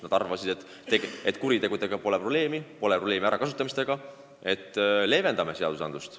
Nad arvasid, et nende kuritegudega pole seal probleemi, pole probleemi alaealiste ärakasutamisega ja leevendame seadust.